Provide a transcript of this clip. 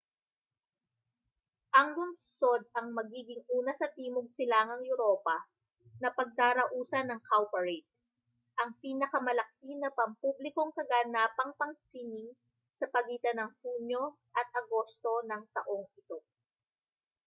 ang lungsod ang magiging una sa timog-silangang europa na pagdarausan ng cowparade ang pinalamalaki na pampublikong kaganapang pansining sa pagitan ng hunyo at agosto ng taong ito